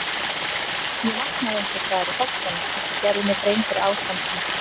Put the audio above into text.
Ég vaknaði einhvers staðar í Holtunum og gerði mér grein fyrir ástandinu.